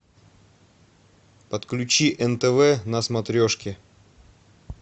подключи нтв на смотрешке